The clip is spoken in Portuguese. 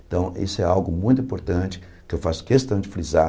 Então, isso é algo muito importante que eu faço questão de frisar,